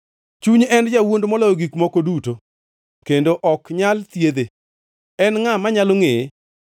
Chuny en jawuond moloyo gik moko duto kendo ok nyal thiedhe. En ngʼa manyalo ngʼeye?